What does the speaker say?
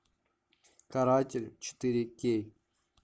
каратель четыре кей